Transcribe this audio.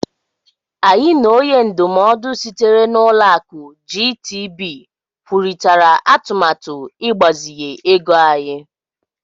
Anyị na onye ndụmọdụ sitere na Ụlọakụ GTB kwurịtara atụmatụ ịgbazinye ego anyị.